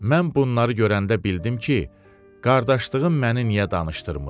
Mən bunları görəndə bildim ki, qardaşlığım məni niyə danışdırmır.